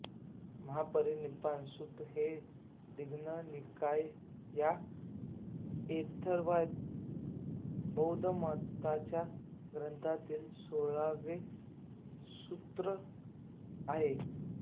महापरिनिब्बाण सुत्त हे दीघ्घ निकाय या थेरवाद बौद्ध मताच्या ग्रंथातील सोळावे सुत्त सूत्र आहे